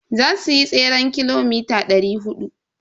Za suyi tseren kilomita dari hudu.